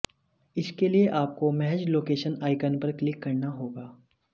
इसके लिए आपको महज लोकेशन आइकन पर क्लिक करना होगा